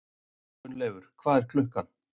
Gunnleifur, hvað er klukkan?